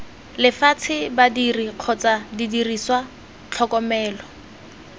lefatshe badiri kgotsa didiriswa tlhokomelo